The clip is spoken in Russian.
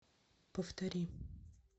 повтори